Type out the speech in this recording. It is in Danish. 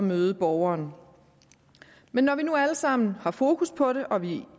møde borgeren men når vi nu alle sammen har fokus på det og vi